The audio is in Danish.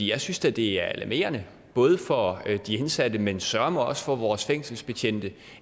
jeg synes da det er alarmerende både for de indsatte men søreme også for vores fængselsbetjente